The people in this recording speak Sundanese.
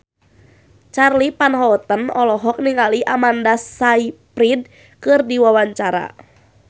Charly Van Houten olohok ningali Amanda Sayfried keur diwawancara